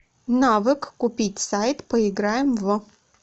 навык купить сайт поиграем в